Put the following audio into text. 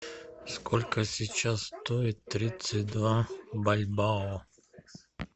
сколько сейчас стоит тридцать два бальбоа